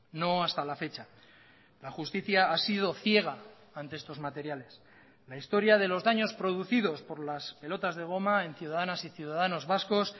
no hasta la fecha la justicia ha sido ciega ante estos materiales la historia de los daños producidos por las pelotas de goma en ciudadanas y ciudadanos vascos